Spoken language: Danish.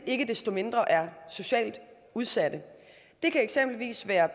ikke desto mindre er socialt udsatte det kan eksempelvis være